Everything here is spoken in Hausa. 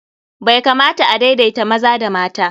Bai kamata a daidaita maza da mata.